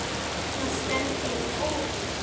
Annars stefndi í óefni.